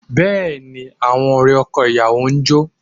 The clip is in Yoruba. Bẹ́ẹ̀ ni, àwọn ọ̀rẹ́ ọkọ ìyàwó ń jó